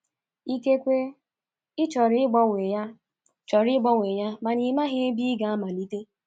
Ikekwe ị chọrọ ịgbanwe ya chọrọ ịgbanwe ya mana ị maghị ebe ị ga-amalite.